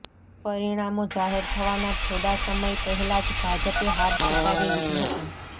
પરિણામો જાહેર થવાના થોડા સમય પહેલા જ ભાજપે હાર સ્વીકારી લીધી હતી